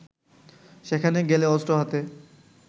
সেখানে গেলে অস্ত্র হাতে